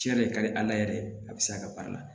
Cɛn yɛrɛ ka di ala ye a bɛ se a ka baara la